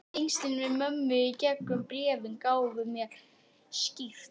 Tengslin við mömmu í gegnum bréfin gáfu mér styrk.